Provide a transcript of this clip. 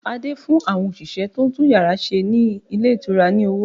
Adé fún àwọn òṣìṣẹ́ tó ń tún yàrá ṣe ní ilé ìtura ní owó